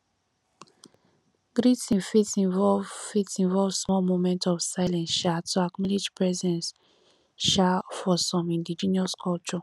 greeting fit involve fit involve small moment of silence um to acknowledge presence um for some indigenous cultures